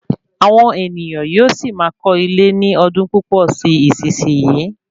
Àwọn ènìyàn yóò sì máa kọ́ ilé ní ọdún púpò sí isisiyi